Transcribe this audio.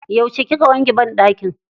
Yauce kika wanke banɗakin?